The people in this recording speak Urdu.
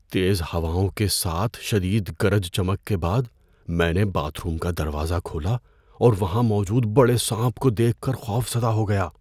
تیز ہواؤں کے ساتھ شدید گرج چمک کے بعد، میں نے باتھ روم کا دروازہ کھولا اور وہاں موجود بڑے سانپ کو دیکھ کر خوف زدہ ہو گیا۔